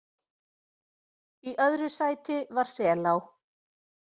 Í öðru sæti var Selá